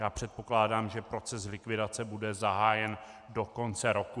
Já předpokládám, že proces likvidace bude zahájen do konce roku.